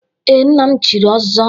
Ee, nna m chiri ọzọ.